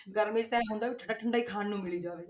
ਗਰਮੀਆਂ 'ਚ ਤਾਂ ਇਉਂ ਹੁੰਦਾ ਵੀ ਠੰਢਾ ਠੰਢਾ ਹੀ ਖਾਣ ਨੂੰ ਮਿਲੀ ਜਾਵੇ